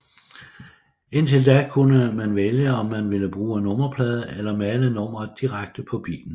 Indtil da kunne man vælge om man ville bruge nummerplade eller male nummeret direkte på bilen